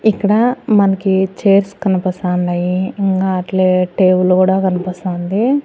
ఇక్కడ మనకి చైర్స్ కనపస్తాండాయి ఇంగా అట్లే టేబుళ్ళు గూడా కనపస్తాంది.